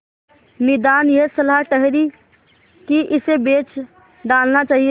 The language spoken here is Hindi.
निदान यह सलाह ठहरी कि इसे बेच डालना चाहिए